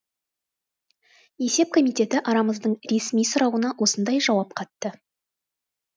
есеп комитеті арамыздың ресми сұрауына осындай жауап қатты